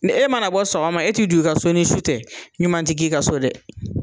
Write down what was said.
Ni e mana bɔ sɔgɔma e ti don i ka so ni su tɛ ɲuman te k'i ka so dɛ.